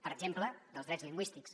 per exemple dels drets lingüístics